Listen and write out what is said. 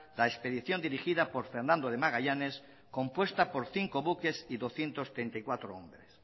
la expedición dirigida por fernando de magallanes compuesta por cinco buques y doscientos treinta y cuatro hombres